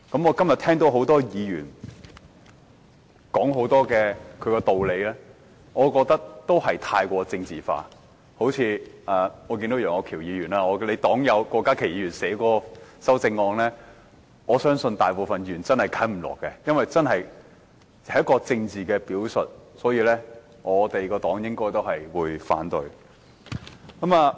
我今天聽到很多議員說了很多道理，我覺得都過於政治化，好像楊岳橋議員的黨友郭家麒議員提出的修正案，我相信大部分議員均無法接受，因為這是一個政治表述，相信我所屬的政黨應會反對。